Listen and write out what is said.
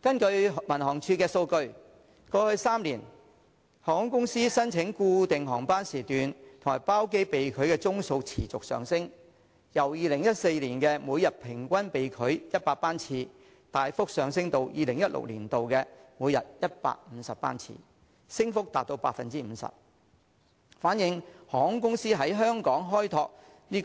根據民航處的數據，過去3年，航空公司申請固定航班時段和包機被拒的宗數持續上升，由2014年每天平均被拒100班次，大幅上升至2016年的每天150班次，升幅達到 50%， 反映航空公司在香港開拓